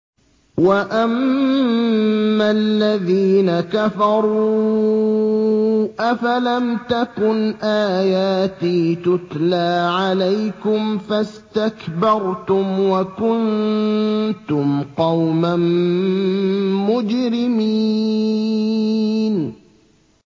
وَأَمَّا الَّذِينَ كَفَرُوا أَفَلَمْ تَكُنْ آيَاتِي تُتْلَىٰ عَلَيْكُمْ فَاسْتَكْبَرْتُمْ وَكُنتُمْ قَوْمًا مُّجْرِمِينَ